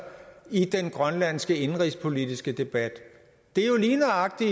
i den grønlandske indenrigspolitiske debat det er jo lige nøjagtig